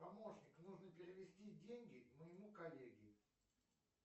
помощник нужно перевести деньги моему коллеге